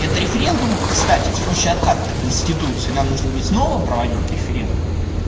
это референдум кстати в случае отката конституции нам нужно будет снова проводить референдум